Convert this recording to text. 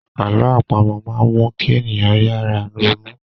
Àlọ́ àpamọ máa n mu kí ènìyàn yára ronú